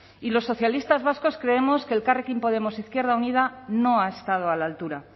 y los socialistas vascos creemos que elkarrekin podemos izquierda unida no ha estado a la altura